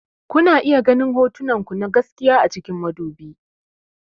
Kuna iya ganin hotonku na gaskiya a cikin madubi.